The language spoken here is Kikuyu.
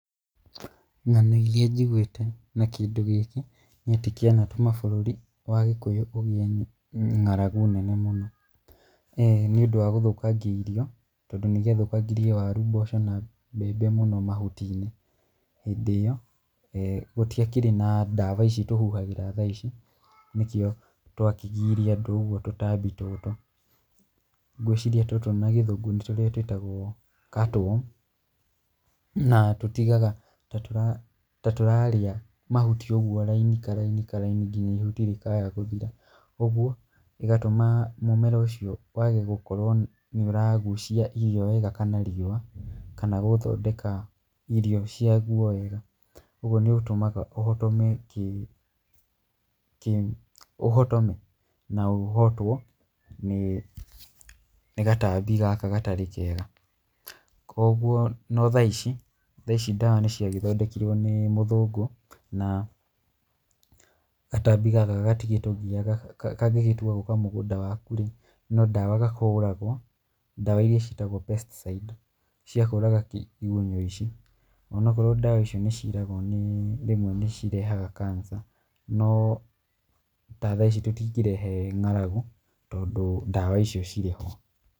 Ng'ano irĩa njiguĩte na kĩndũ gĩkĩ, nĩ atĩ kĩanatũma bũrũri wae kũgĩa ng'aragu nene mũno. Nĩ ũndũ wa gũthũkangia irio, tondũ nĩ gĩathũkangirie waru, mboco na mbembe mũno mahuti-inĩ. Hĩndĩ ĩyo, gũtiakĩrĩ na ndawa ici tũhuhagĩra thaa ici, nĩkĩo tũakĩgiire andũ ũguo tũtambi tũtũ. Ngwĩciria tũtũ na gĩthũngũ nĩ tũrĩa tũĩtagwo cutworm. Na tũtigaga ta ta tũrarĩa mahuti ũguo raini karaini karaini nginya ihuti rĩkaaya gũthira. Ũguo, ĩgatũma mũmera ũcio wage gũkorwo nĩ ũragucia irio wega kana riũa, kana gũthondeka irio cia guo wega. Ũguo nĩ ũtũmaga ũhotome ũhotome, na ũhotwo, nĩ nĩ gatambi gaka gatarĩ kega. Koguo, no thaa ici, thaa ici ndawa nĩ ciagĩthondekirwo nĩ mũthũngũ, na gatambi gaka gatigĩtugiaga kangĩtua gũũka mũgũnda waku rĩ, no ndawa gahũragwo, ndawa irĩa citagwo pesticides cia kũũraga igunyũ ici. Onakorwo ndawa icio nĩ ciiragwo nĩ rĩmwe nĩ cirehaga cancer, no ta thaa ici tũtingĩrehe ng'aragu, tondũ ndawa icio cirĩ ho.